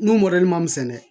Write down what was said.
N'o man misɛn dɛ